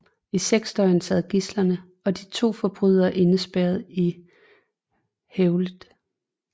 I seks døgn sad gidslerne og de to forbrydere indespærret i hvælvet